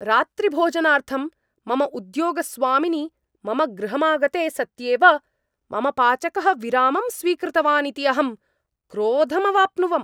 रात्रिभोजनार्थं मम उद्योगस्वामिनि मम गृहमागते सत्येव मम पाचकः विरामं स्वीकृतवानिति अहं क्रोधमावप्नुवम्।